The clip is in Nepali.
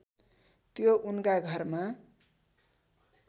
त्यो उनका घरमा